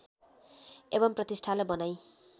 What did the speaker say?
एवम् प्रतिष्ठालाई बनाइ